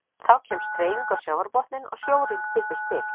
Þá kemst hreyfing á sjávarbotninn og sjórinn kippist til.